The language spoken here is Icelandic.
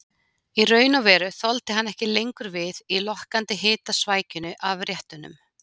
Í raun og veru þoldi hann ekki lengur við í lokkandi hitasvækjunni af réttunum.